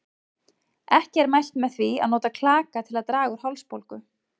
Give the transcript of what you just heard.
Ekki er mælt með því að nota klaka til að draga úr hálsbólgu.